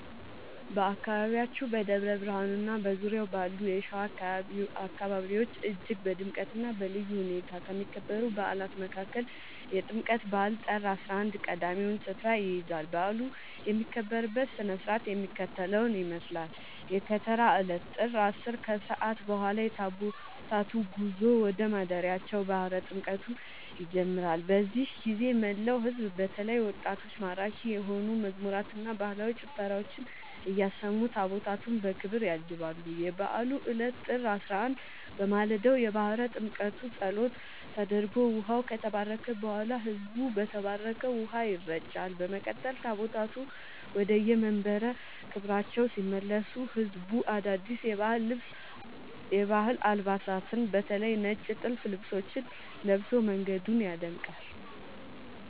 በአካባቢያችን በደብረ ብርሃንና በዙሪያው ባሉ የሸዋ አካባቢዎች እጅግ በድምቀትና በልዩ ሁኔታ ከሚከበሩ በዓላት መካከል የጥምቀት በዓል (ጥር 11) ቀዳሚውን ስፍራ ይይዛል። በዓሉ የሚከበርበት ሥነ ሥርዓት የሚከተለውን ይመስላል፦ የከተራ ዕለት (ጥር 10)፦ ከሰዓት በኋላ የታቦታቱ ጉዞ ወደ ማደሪያቸው (ባሕረ ጥምቀቱ) ይጀምራል። በዚህ ጊዜ መላው ሕዝብ በተለይም ወጣቶች ማራኪ የሆኑ መዝሙራትንና ባህላዊ ጭፈራዎችን እያሰሙ ታቦታቱን በክብር ያጅባሉ። የበዓሉ ዕለት (ጥር 11)፦ በማለዳው የባሕረ ጥምቀቱ ጸሎት ተደርጎ ውኃው ከተባረከ በኋላ፣ ሕዝቡ በተባረከው ውኃ ይረጫል። በመቀጠል ታቦታቱ ወደየመንበረ ክብራቸው ሲመለሱ ሕዝቡ አዳዲስ የሀገር ባህል አልባሳትን (በተለይ ነጭ ጥልፍ ልብሶችን) ለብሶ መንገዱን ያደምቃል።